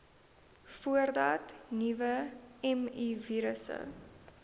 voordat nuwe mivirusse